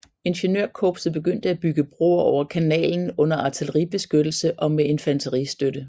Ingeniørkorpset begyndte at bygge broer over kanalen under artilleribeskyttelse og med infanteristøtte